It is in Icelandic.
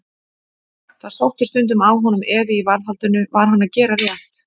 Það sótti stundum að honum efi í varðhaldinu: var hann að gera rétt?